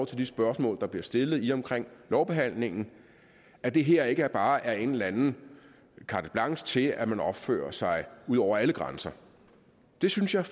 til de spørgsmål der bliver stillet i og omkring lovbehandlingen at det her ikke bare er et eller andet carte blanche til at man opfører sig ud over alle grænser det synes jeg